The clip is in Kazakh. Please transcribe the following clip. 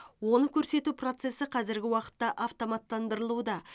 оны көрсету процесі қазіргі уақытта автоматтандырылуда